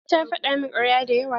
Eh ta faɗa min karya da yawa.